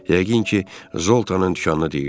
Yəqin ki, Zoltanın dükanını deyirdi.